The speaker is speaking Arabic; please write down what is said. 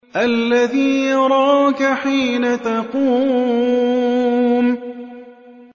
الَّذِي يَرَاكَ حِينَ تَقُومُ